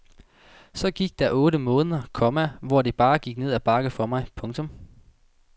Så gik der otte måneder, komma hvor det bare gik ned ad bakke for mig. punktum